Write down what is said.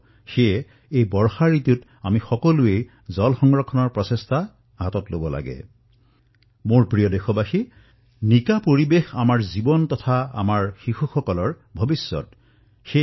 মোৰ মৰমৰ দেশবাসীসকল স্বচ্ছ পৰিবেশ প্ৰত্যক্ষভাবে আমাৰ জীৱন আমাৰ সন্তানসকলৰ ভৱিষ্যতৰ সৈতে জড়িত